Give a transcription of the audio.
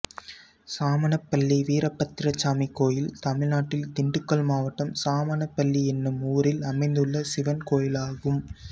சாமனப்பள்ளி வீரபத்திரசாமி கோயில் தமிழ்நாட்டில் திண்டுக்கல் மாவட்டம் சாமனப்பள்ளி என்னும் ஊரில் அமைந்துள்ள சிவன் கோயிலாகும்